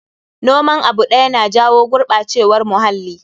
Noman abu ɗaya na jawo gurɓacewar muhalli.